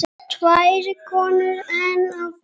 Tvær konur enn á ferð.